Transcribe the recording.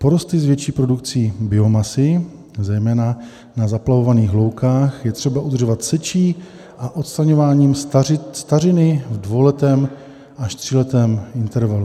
Porosty s větší produkcí biomasy, zejména na zaplavovaných loukách, je třeba udržovat sečí a odstraňováním stařiny v dvouletém až tříletém intervalu.